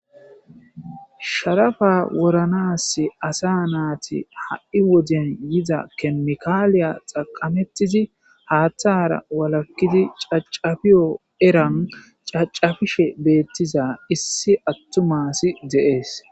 sharafa woranas asa naati ha7i woden yiza kemikaaliya xaqamettizi haaththara walakkizi cacafiyo eran cacafishe beettiza issi attumasi deees